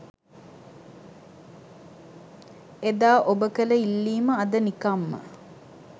එදා ඔබ කළ ඉල්ලීම අද නිකම්ම